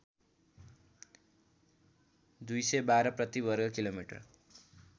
२१२ प्रति वर्ग किमि